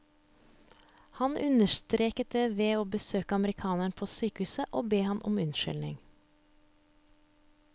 Han understreket det ved å besøke amerikaneren på sykehuset og be ham om unnskyldning.